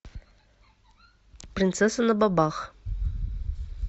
принцесса на бобах